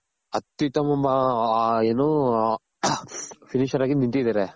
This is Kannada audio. ಅತ್ಯುತ್ತಮ ಏನು finisher ಆಗಿ ನಿಂತಿದಾರೆ